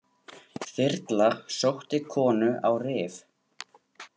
Þyrla sótti konu á Rif